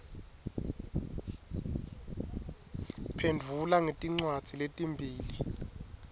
phendvula ngetincwadzi letimbili